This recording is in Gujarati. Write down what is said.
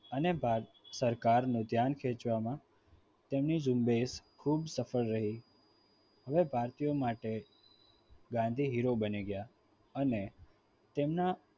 અને ભારત સરકારનું ધ્યાન ખેંચવામાં તેની ઝુંબેશ ખૂબ સફળ રહી હવે ભારતીયો માટે ગાંધી hero બની ગયા અને તેમના